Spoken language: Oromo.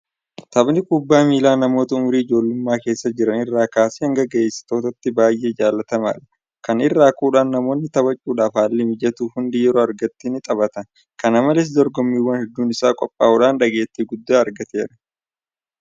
Taphni kubbaa miilaa namoota umurii ijoollummaa keessa jiran irraa kaasee hanga gayeessotaatti baay'ee jaalatamaadha. Kana irraa ka'uudhaan namoonni taphachuudhaaf haalli mijatuuf hundi yeroo argatetti ni taphata. Kana malees dorgommiiwwan hedduun isaan qophaa'uudhaan dhageettii guddaa argateera.